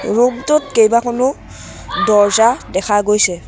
Room টোত কেইবাখনো দৰ্জা দেখা গৈছে।